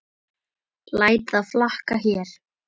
Læt það flakka hér.